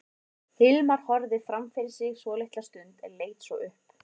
Hilmar horfði fram fyrir sig svolitla stund en leit svo upp.